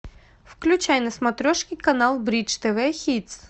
включай на смотрешке канал бридж тв хитс